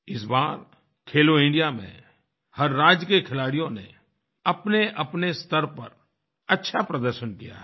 इस बार खेलो इंडिया में हर राज्य के खिलाड़ियों ने अपनेअपने स्तर पर अच्छा प्रदर्शन किया है